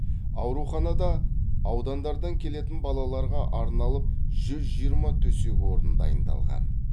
ауруханада аудандардан келетін балаларға арналып жүз жиырма төсек орын дайындалған